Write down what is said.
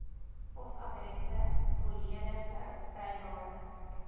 posadresse volledige vrywarings